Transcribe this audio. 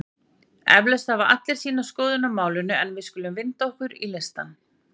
Eflaust hafa allir sína skoðun á málinu en við skulum vinda okkur í listann.